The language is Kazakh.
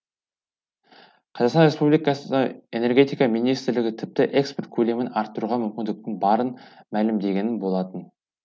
қазақстан республикасы энергетика министрлігі тіпті экспорт көлемін арттыруға мүмкіндіктің барын мәлімдеген болатын